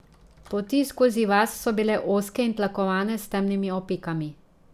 Poti skozi vas so bile ozke in tlakovane s temnimi opekami.